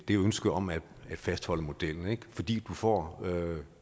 det ønske om at fastholde modellen fordi man får